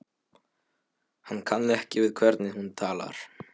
Hann kann ekki við hvernig hún talar.